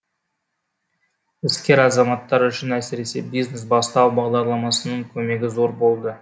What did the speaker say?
іскер азаматтар үшін әсіресе бизнес бастау бағдарламасының көмегі зор болды